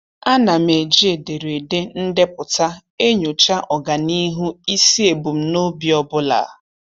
A na m eji ederede ndepụta enyocha ọganihu isi ebumnobi ọbụla.